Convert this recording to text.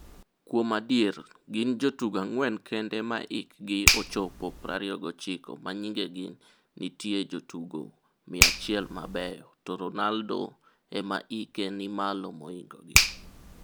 Kuom adier, gin jotugo ang'wen kende ma hik gi ochopo 29 ma nyingegi nitie jotugo 100 mabeyo to Ronaldo ema hike ni malo mohingo gi.